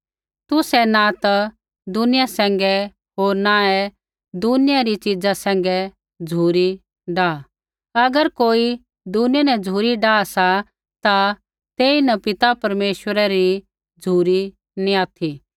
तुसै न ता दुनिया सैंघै होर न ही दुनिया री चीज़ा सैंघै झ़ुरी डाह अगर कोई दुनिया न झ़ुरी डाआ सा ता तेइन पिता परमेश्वरा री झ़ुरी नैंई ऑथि